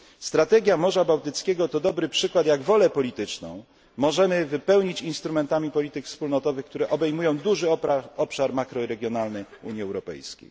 Strategia Morza Bałtyckiego to dobry przykład jak wolę polityczną możemy wypełnić instrumentami polityk wspólnotowych, które obejmują duży obszar makroregionalnej Unii Europejskiej.